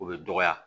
O bɛ dɔgɔya